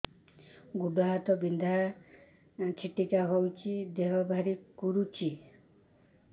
ଗୁଡ଼ ହାତ ବିନ୍ଧା ଛିଟିକା ହଉଚି ଦେହ ଭାରି କରୁଚି